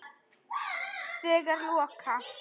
Þegar loka